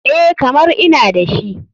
EH, kamar ina dashi.